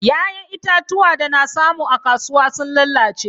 Ya'yan itatuwa da na samu a kasuwa sun lalace.